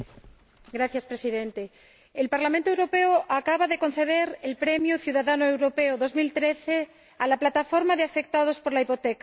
Señor Presidente, el Parlamento Europeo acaba de conceder el premio Ciudadano Europeo 2013 a la Plataforma de Afectados por la Hipoteca.